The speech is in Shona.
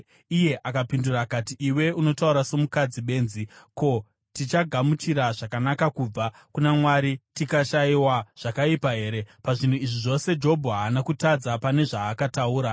Iye akapindura akati, “Iwe unotaura somukadzi benzi. Ko, tichagamuchira zvakanaka kubva kuna Mwari, tikashayiwa zvakaipa here?” Muzvinhu izvi zvose, Jobho haana kutadza pane zvaakataura.